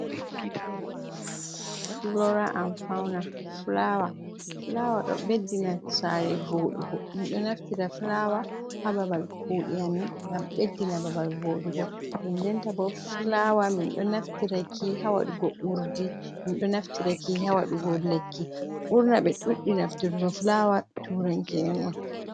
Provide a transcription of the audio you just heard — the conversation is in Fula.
Fulora an fauna fulawa. Fulawa ɗo ɓeddina saare voɗugo. Men ɗo naftira fulawa haa babal kuɗe amin ngam ɓeddina babal voɗugo, den denta bo fulawa min ɗo naftiraki haa waɗugo urdi, min ɗo naftiraki haa waɗugo lekki. burna ɓe ɗuuɗi nafturgo fulawa turanke on.